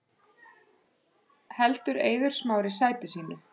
Heldur Eiður Smári sæti sínu